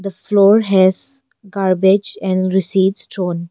The floor has garbage and receipt thrown.